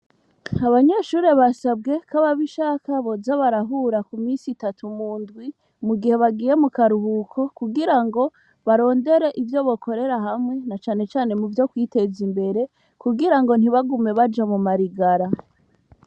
Abanyeshuri basabwe ko ababishaka boza barahura ku misi itatu mu ndwi mu gihe bagiye mu karuhuko kugira ngo barondere ivyo bokorera hamwe na canecane mu vyo kwiteza imbere kugira ngo ntibagume baja mu marigara.